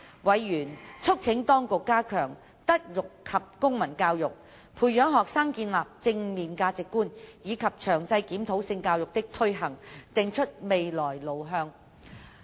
委員促請當局加強德育及公民教育，培養學生建立正面價值觀，以及詳細檢討性教育的推行，定出未來路向。